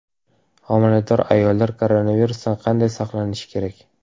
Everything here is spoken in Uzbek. Homilador ayollar koronavirusdan qanday saqlanishi kerak?.